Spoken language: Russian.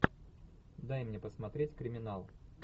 дай мне посмотреть криминал